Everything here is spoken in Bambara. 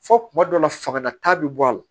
Fɔ kuma dɔw la fanga ta bi bɔ a la